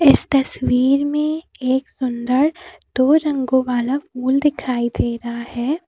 इस तस्वीर में एक सुंदर दो रंगों वाला फूल दिखाई दे रहा हैं।